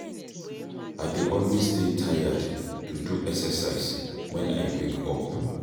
I dey always dey tired to do exercise wen I wake up.